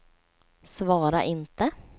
svara inte